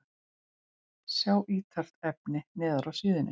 Sjá ítarefni neðar á síðunni